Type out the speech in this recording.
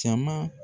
Caman